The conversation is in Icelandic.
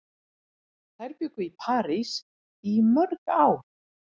Þær bjuggu í París í mörg ár.